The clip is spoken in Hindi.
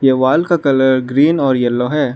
दीवाल का कलर ग्रीन और येल्लो है।